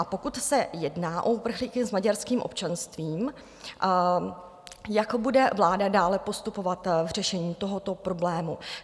A pokud se jedná o uprchlíky s maďarským občanstvím, jak bude vláda dále postupovat v řešení tohoto problému?